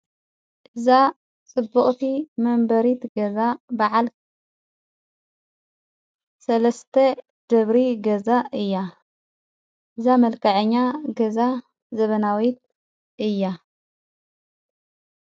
እእዛ ጽቡቕቲ መንበሪት ገዛ በዓል ሠለስተ ጀብሪ ገዛ እያ እዛ መልካዐኛ ገዛ ዘበናዊት እያ።